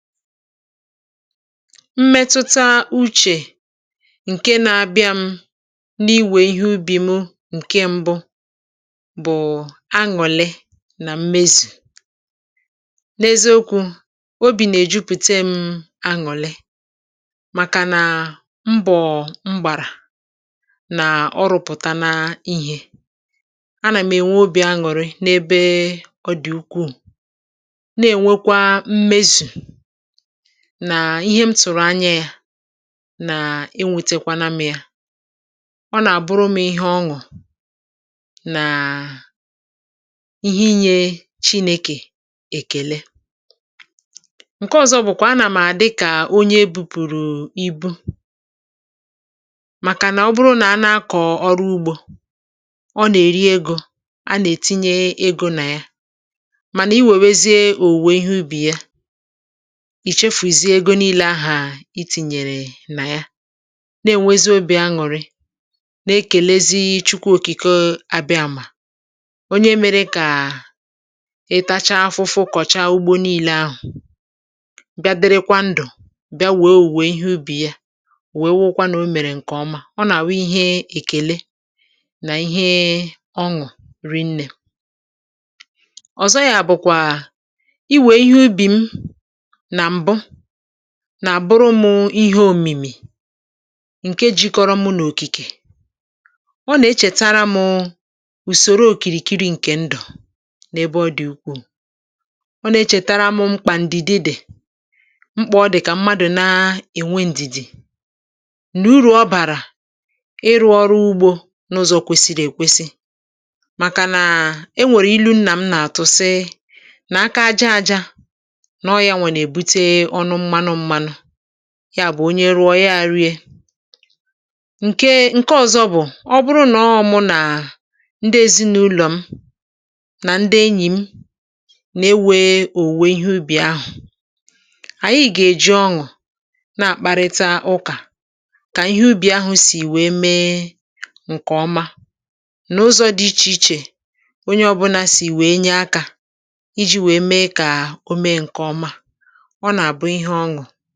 Mmetụta uchè ǹke na-abịa m n’iwè ihé ubi mụ ǹke mbụ bụ̀ añụ̀lị̀ nà mmezù n’eziokwu̇ obì nà-èjupute m um añụ̀lị̀ màkà nàa mbọ̀ mgbàrà nà ọrụ̀pụ̀tana ihé a nà m ènwe obì añùrị n’ebe ọ dị̀ ukwuù na-ènwekwa mmezù nà ihé m tụ̀rụ̀ anya yȧ nà enwetekwana mụ yȧ ọ nà-àbụrụ m ihé ọṅụ̀ nàà ihé inyė chinėkè èkèle. Ǹke ọ̀zọ bụ̀kwà a nà m̀ a dịkà onye ebupùrù ibu̇ màkà nà ọ bụrụ nà a na-akọ̀ ọrụ ugbȯ, ọ nà-èri egȯ a nà-ètinye egȯ nà ya mànà i wèwèzie òwùwò ihé ubì ya, ichefuzie ógè nile aha ìtìnyèrè nà ya na-ènwezi obị̀ aṅụ̀rị nà-ekèlezi chukwu òkìke um abịamà onye mèrè kà ị tacha afụfụ kọ̀cha ugbo niilė ahụ̀ bịa dịrịkwa ndụ̀ bịa wéé owuwe ihé ubì yá ọ wèe wụrụkwa nà o mèrè ǹkè ọma ọ nà awụ ihé èkèle nà ihe ọṅụ̀ rinnè. Ọzọ yȧ bụ̀kwà iwe ihé ubi m nà mbụ nà-àbụrụ mụ ihé òmìmì ǹke jikọrọ mụ n’òkìkè, ọ nà-echètara mụ ùsòro òkìrìkiri ǹkè ndụ̀ n’ebe ọ dị̀ ukwuù, ọ nà-echètara mụ mkpà ǹdìdì dị mkpà ọ dị̀ kà mmadụ̀ na-ènwe ǹdìdì nà uru ọ bàrà ịrụ̇ ọrụ ugbȯ n’ụzọ̇ kwesiri èkwesi màkà nà um e nwèrè ilu nna m nà-àtụ sị nà “aka aja aja nọ ya nwà na ebute ọnụ mmanụ mmanụ” yá bụ onye rụọ ya erị e. Ǹke Ǹke ọ̀zọ bụ̀ ọ bụrụ nọ mụ nà ndị ezinàụlọ̀ m nà ndị enyì m nà-ewe òwùwe ihé ubì ahụ̀, ànyị gà-èji ọṅụ̀ na-àkpàrị̀ta ụkà kà ihè ubì ahụ̀ sì wèe mee ǹkè ọma n’ụzọ̇ dị ichè ichè onye ọbụna sì wèe nye akȧ iji̇ wèe mee kà o mee ǹkè ọma. Ọ nà abụ ihé oṅụ.